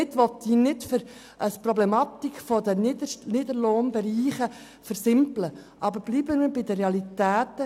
Damit will ich nicht die Problematik der Niederlohnbereiche kleinreden, aber bleiben wir bei den Realitäten.